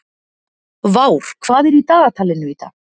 Vár, hvað er í dagatalinu í dag?